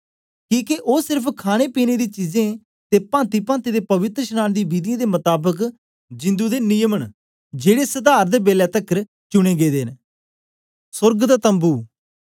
किके ओ सेर्फ खाणेपीने दी चीजें ते पांतिपांति दे पवित्रशनांन दी विधियें दे मताबक जिंदु दे निजम न जेड़े सधार दे बेलै तकर चुनें गेदे न